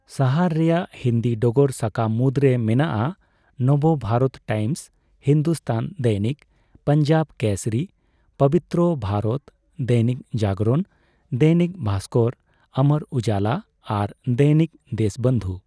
ᱥᱟᱦᱟᱨ ᱨᱮᱭᱟᱜ ᱦᱤᱱᱫᱤ ᱰᱚᱜᱚᱨ ᱥᱟᱠᱟᱢ ᱢᱩᱫᱽᱨᱮ ᱢᱮᱱᱟᱜᱼᱟ ᱱᱚᱵᱚ ᱵᱷᱟᱨᱚᱛ ᱴᱟᱭᱤᱢᱥ, ᱦᱤᱱᱫᱩᱥᱛᱟᱱ ᱫᱚᱭᱱᱤᱠ, ᱯᱚᱧᱡᱟᱵᱽ ᱠᱮᱥᱚᱨᱤ, ᱯᱚᱵᱤᱛᱛᱨᱚ ᱵᱷᱟᱨᱚᱛ, ᱫᱚᱭᱱᱤᱠ ᱡᱟᱜᱚᱨᱚᱱ, ᱫᱚᱭᱱᱤᱠ ᱵᱷᱟᱥᱠᱚᱨ, ᱚᱢᱚᱨ ᱩᱡᱟᱞᱟ ᱟᱨ ᱫᱚᱭᱱᱤᱠ ᱫᱮᱥᱵᱚᱱᱫᱷᱩ ᱾